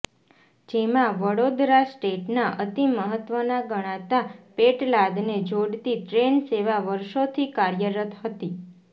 જેમાં વડોદરા સ્ટેટના અતિ મહત્વના ગણાતા પેટલાદને જોડતી ટ્રેનસેવા વર્ષોથી કાર્યરત હતી